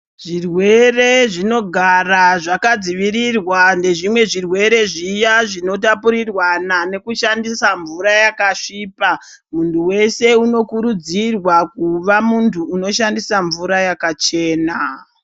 Zvirwere zvinogara zvakadzivirirwa nezvimwe zvirwere zviya zvinotapuriranwa nekushandiswa mvura yakasvipa mundu weshe unokurudzirwa kuva munhu unishandisa mvura yakachena.